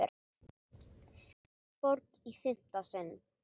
Skjaldborg í fimmta sinn